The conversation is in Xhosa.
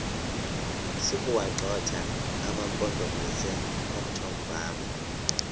sokuwagxotha amampondomise omthonvama